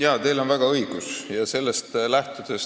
Jaa, teil on väga õigus.